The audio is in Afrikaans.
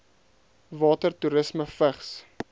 water toerisme vigs